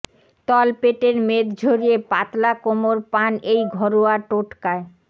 তলপেটের মেদ ঝরিয়ে পাতলা কোমর পান এই ঘরোয়া টোটকায়